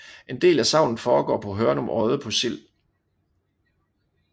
En del af sagnet foregår på Hørnum Odde på Sild